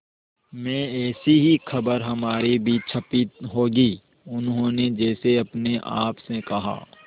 में ऐसी ही खबर हमारी भी छपी होगी उन्होंने जैसे अपने आप से कहा